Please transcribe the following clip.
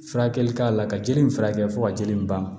Furakɛli k'a la ka jeli in furakɛ fo ka jeli in ban